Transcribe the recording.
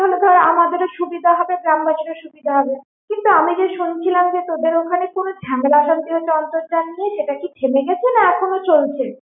তাহলে ধর আমাদেরও সুবিধা হবে গ্রামবাসীরও সুবিধা হবে। কিন্তু আমি যে শুনেছিলাম যে তোদের ওখানে কোনো ঝামেলা অশান্তি হচ্ছে অন্তর্জাল নিয়ে সেটা কি থেমে গেছে না এখনো চলছে?